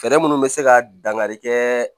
Fɛɛrɛ munnu bɛ se ka dangari kɛ